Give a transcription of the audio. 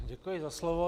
Děkuji za slovo.